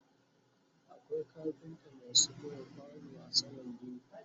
akwai kafinta maasu buga kwano a saman gini